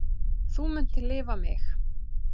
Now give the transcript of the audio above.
Þú munt lifa mig.